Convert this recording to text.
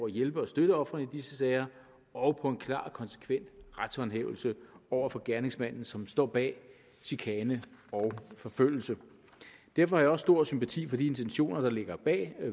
at hjælpe og støtte ofrene i disse sager og på en klar og konsekvent retshåndhævelse over for gerningsmanden som står bag chikane og forfølgelse derfor har stor sympati for de intentioner der ligger bag